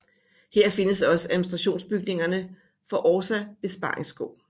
Her findes også administrationsbygningerne for Orsa Besparingsskog